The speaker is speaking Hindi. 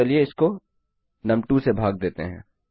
तो चलिए इसको नुम2 से भाग देते हैं